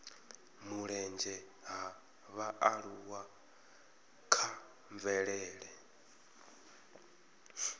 mulenzhe ha vhaaluwa kha mvelele